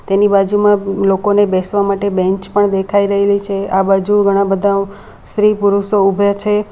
તેની બાજુમાં લોકોને બેસવા માટે બેન્ચ પણ દેખાય રહી છે આ બાજુ ઘણા બધા સ્ત્રી પુરુષો ઉભે છે.